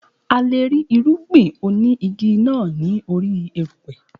A leè rí irúgbìn oní igi náà ní orí erùpè